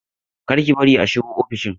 Kar ki bari a shigo ofishin!